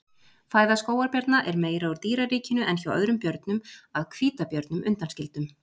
Fæða skógarbjarna er meira úr dýraríkinu en hjá öðrum björnum að hvítabjörnum undanskildum.